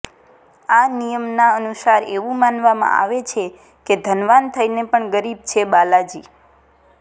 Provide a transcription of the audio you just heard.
આ નિયમના અનુસાર એવું માનવામાં આવે છે કે ધનવાન થઈને પણ ગરીબ છે બાલાજી